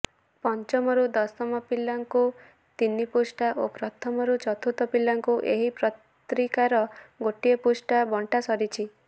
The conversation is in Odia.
ପଞ୍ଚମରୁ ଦଶମ ପିଲାଙ୍କୁ ତିନିପୃଷ୍ଠା ଓ ପ୍ରଥମରୁ ଚତୁର୍ଥ ପିଲାଙ୍କୁ ଏହି ପତ୍ରିକାର ଗୋଟିଏ ପୃଷ୍ଠା ବଣ୍ଟା ସରିଛି